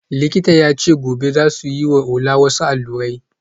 Likitan ya ce gobe za su yi wa Ola wasu allurai